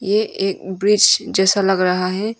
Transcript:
ये एक अं ब्रिज जैसा लग रहा है।